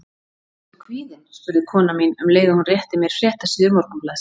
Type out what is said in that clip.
Ertu kvíðinn? spurði kona mín, um leið og hún rétti mér fréttasíður morgunblaðsins.